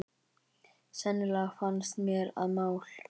Sennilegast fannst mér að mál